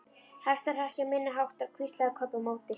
Hætta að hrekkja minni máttar, hvíslaði Kobbi á móti.